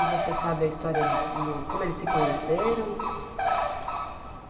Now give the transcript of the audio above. E você sabe a história do, do, como eles se conheceram?